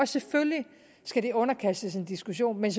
selvfølgelig skal det underkastes en diskussion men